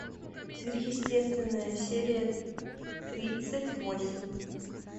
сверхъестественное серия тридцать восемь